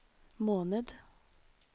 måned